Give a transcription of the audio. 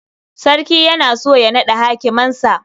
Sarki yana so ya naɗa hakimansa.